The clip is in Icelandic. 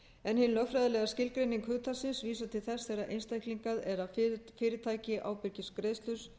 en hin lögfræðilega skilgreining hugtaksins vísar til þess þegar einstaklingur eða fyrirtæki ábyrgist greiðslu